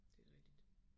Det rigtigt